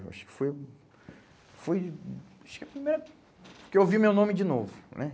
Acho que foi, foi... Acho que foi o primeiro que eu ouvi meu nome de novo, né?